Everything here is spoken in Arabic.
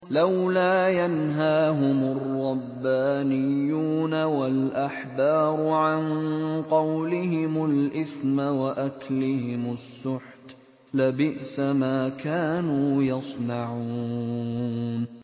لَوْلَا يَنْهَاهُمُ الرَّبَّانِيُّونَ وَالْأَحْبَارُ عَن قَوْلِهِمُ الْإِثْمَ وَأَكْلِهِمُ السُّحْتَ ۚ لَبِئْسَ مَا كَانُوا يَصْنَعُونَ